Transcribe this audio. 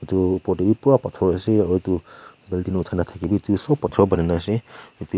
etu body be bura bathor asa aro building uthai na thakibe sop bathor bunaina asa ep.